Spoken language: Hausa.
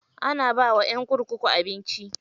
Ana bawa ƴan kurkuku abinci.